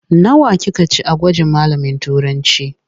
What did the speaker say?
Nawa kika ci a gwajin malamin Turancı?